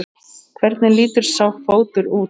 Hvernig lítur sá fótur út?